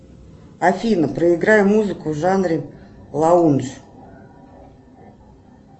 афина проиграй музыку в жанре лаундж